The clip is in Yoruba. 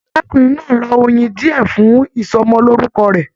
Arákùnrin náà ra oyin diẹ fún ìsọmọlorúkọ rẹ.